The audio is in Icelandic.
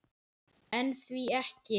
En því ekki?